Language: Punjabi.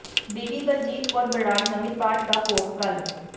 ਬੀਬੀ ਬਲਜੀਤ ਕੌਰ ਬਰਾੜ ਨਮਿਤ ਪਾਠ ਦਾ ਭੋਗ ਕੱਲ੍ਹ